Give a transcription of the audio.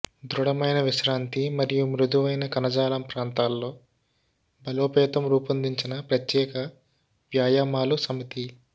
దృఢమైన విశ్రాంతి మరియు మృదువైన కణజాలం ప్రాంతాల్లో బలోపేతం రూపొందించిన ప్రత్యేక వ్యాయామాలు సమితి